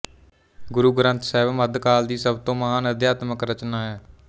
ਗੁਰੂ ਗ੍ਰੰਥ ਸਾਹਿਬ ਮੱਧ ਕਾਲ ਦੀ ਸਭ ਤੋਂ ਮਹਾਨ ਅਧਿਆਤਮਕ ਰਚਨਾ ਹੈ